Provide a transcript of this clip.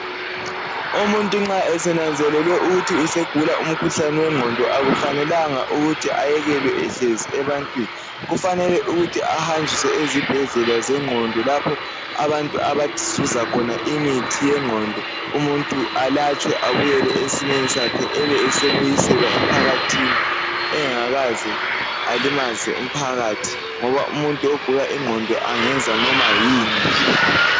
Umuntu nxa esenanzelele ukuthi usegula umkhuhlane wengqondo akufanelanga ayekelwe ehleiz ebantwini kufanele ukuthi ahanjiswe ezibhedlela zengqondo lapho abantu abazuza khona imithi yenqondo umuntu alatshwe abuyele esimeni sakhe ebesebuyelwa emphakathini engakaze alimaze umphakathi ngoba umuntu ogula ingqondo engenza noma yini nje